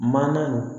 Manan